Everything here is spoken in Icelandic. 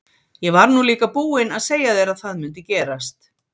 Ég var nú líka búinn að segja þér að það mundi gerast!